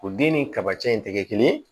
O den ni kabacɛ in tɛ kɛ kelen ye